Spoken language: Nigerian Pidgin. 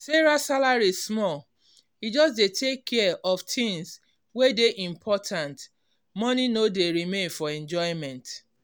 sarah salary small e just dey take care of tins wey dey important money no dey remain for enjoyment.